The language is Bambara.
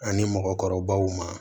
Ani mɔgɔkɔrɔbaw ma